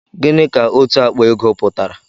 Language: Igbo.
Gịnị ka òtù àkpà ego pụtara?